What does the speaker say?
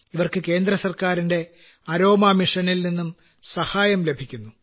ഇവർക്ക് കേന്ദ്രഗവണ്മെന്റിന്റെ അരോമ മിഷനിൽ നിന്നും സഹായം ലഭിക്കുന്നു